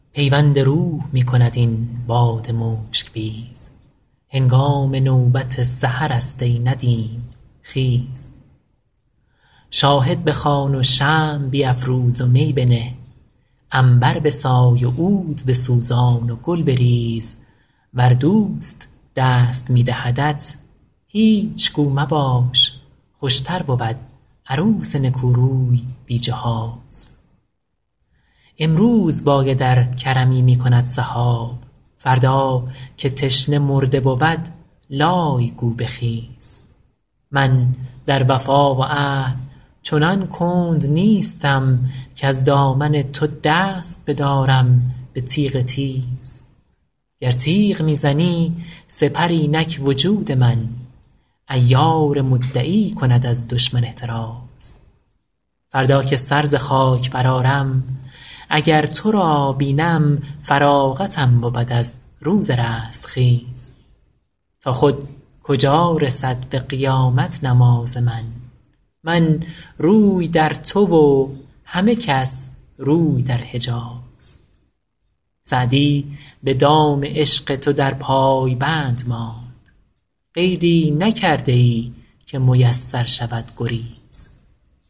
پیوند روح می کند این باد مشک بیز هنگام نوبت سحرست ای ندیم خیز شاهد بخوان و شمع بیفروز و می بنه عنبر بسای و عود بسوزان و گل بریز ور دوست دست می دهدت هیچ گو مباش خوشتر بود عروس نکوروی بی جهیز امروز باید ار کرمی می کند سحاب فردا که تشنه مرده بود لای گو بخیز من در وفا و عهد چنان کند نیستم کز دامن تو دست بدارم به تیغ تیز گر تیغ می زنی سپر اینک وجود من عیار مدعی کند از دشمن احتریز فردا که سر ز خاک برآرم اگر تو را بینم فراغتم بود از روز رستخیز تا خود کجا رسد به قیامت نماز من من روی در تو و همه کس روی در حجیز سعدی به دام عشق تو در پای بند ماند قیدی نکرده ای که میسر شود گریز